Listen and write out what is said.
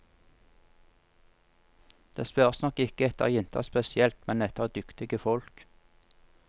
Det spørres nok ikke etter jenter spesielt, men etter dyktige folk.